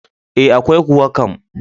E, akwai kuwa kam.